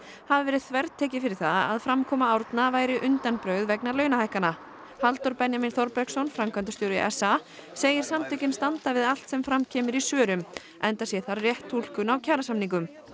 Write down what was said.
hafi verið þvertekið fyrir það að framkoma Árna væri undanbrögð vegna launahækkana Halldór Benjamín Þorbergsson framkvæmdastjóri s a segir samtökin standa við allt sem fram kemur í svörum enda sé þar rétt túlkun á kjarasamningum